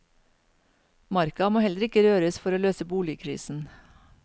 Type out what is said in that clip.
Marka må heller ikke røres for å løse boligkrisen.